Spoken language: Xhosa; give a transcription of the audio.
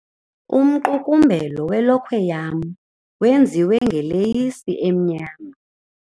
Umqukumbelo welokhwe yam wenziwe ngeleyisi emnyama.